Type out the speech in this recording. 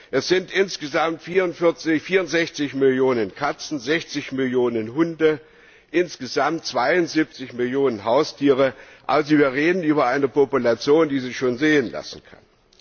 Es sind insgesamt 64 Millionen Katzen, 60 Millionen Hunde, insgesamt 72 Millionen Haustiere also wir reden über eine Population, die sich schon sehen lassen kann.